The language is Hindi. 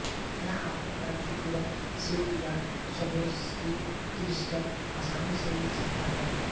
यहाँ आपको कांचीपुरम सिल्क या सावोरस्की क्रिस्टल आसानी से मिल सकता है